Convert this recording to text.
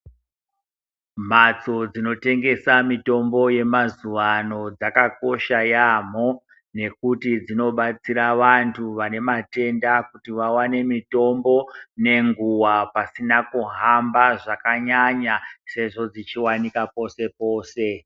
Mbatso dzinotengesa mitombo yamazuwa ano dzakakosha yaampho nekuti dzinobatsira vanthu vane matenda kuti vawane mitombo nenguwa pasina kuhamba zvakanyanya sezvo dzichiwanika pose pose.